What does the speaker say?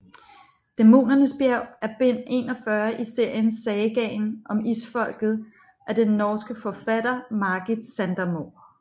Dæmonens bjerg er bind 41 i serien Sagaen om Isfolket af den norske forfatter Margit Sandemo